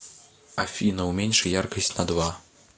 афина уменьши яркость на два